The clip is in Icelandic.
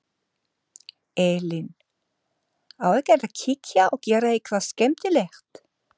Elín: Á ekkert að kíkja og gera eitthvað skemmtilegt?